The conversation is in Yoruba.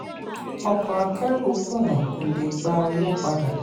ọkọ̀ akẹ́rù kùnà kò le gba owó padà.